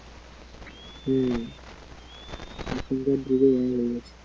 হ্যা এখান কার যুগে